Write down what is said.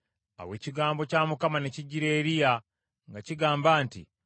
Awo ekigambo kya Mukama ne kijjira Eriya nga kigamba nti,